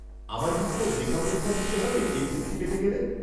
-আমায় কি কোনও লেখা পরীক্ষা দিতে হবে এই বৃত্তি পেতে গেলে?